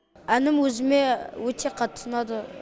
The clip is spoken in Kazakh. әнім өзіме өте қатты ұнады